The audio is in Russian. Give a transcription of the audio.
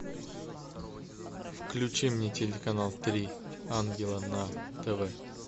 включи мне телеканал три ангела на тв